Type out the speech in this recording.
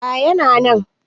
A yana nan